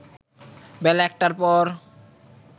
বেলা ১টার পর